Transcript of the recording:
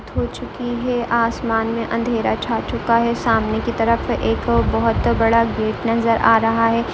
हो चुकी है आसमान में अंधेरा छा चुका है सामने की तरफ एक बहुत बड़ा गेट नजर आ रहा है।